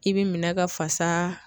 I bɛ minɛ ka fasa